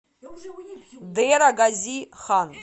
дера гази хан